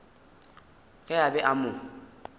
ge a be a mo